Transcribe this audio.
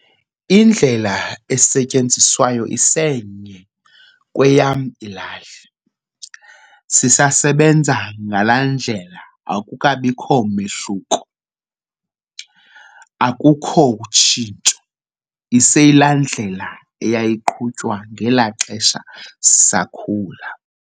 Indlela esetyenziswayo isenye kweyam ilali. Sisabenza ngalaa ndlela akukabikho mehluko, akukho tshintsho. Iseyilaa ndlela eyayiqhutywa ngelaa xesha sisakhula.